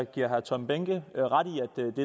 giver herre tom behnke